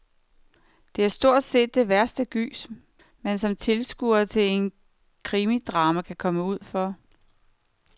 Det er stort set det værste gys, man som tilskuer til et krimidrama kan komme ud for.